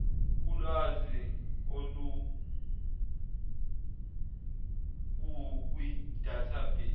kulwazi olukukwi database